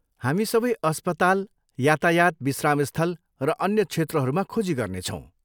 हामी सबै अस्पताल, यातायात विश्रामस्थल र अन्य क्षेत्रहरूमा खोजी गर्नेछौँ।